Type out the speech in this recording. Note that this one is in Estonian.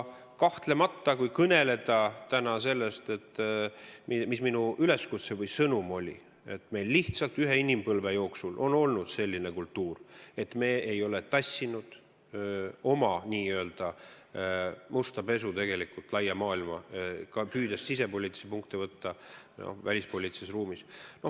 Kahtlemata, kui kõneleda täna sellest, mis oli ka minu üleskutse või sõnum, siis meil on lihtsalt ühe inimpõlve jooksul olnud selline kultuur, et me ei ole tassinud oma musta pesu laia maailma, püüdes võtta sisepoliitilisi punkte välispoliitilises ruumis.